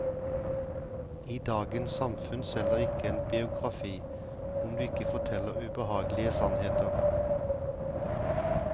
I dagens samfunn selger ikke en biografi, om du ikke forteller ubehagelige sannheter.